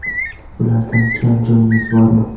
Ulardan kam joyimiz bormi?